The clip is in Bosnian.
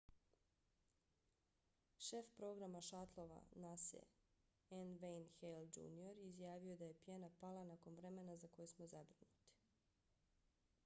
šef programa šatlova nasa-e n. wayne hale jr. izjavio je da je pjena pala nakon vremena za koje smo zabrinuti